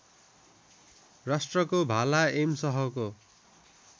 राष्ट्रको भाला एम सहको